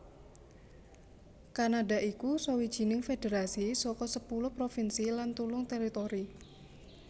Kanada iku sawijining federasi saka sepuluh provinsi lan telung teritori